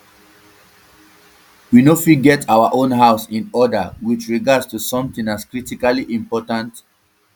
we no fit get our own house in order wit regard to sometin as critically important um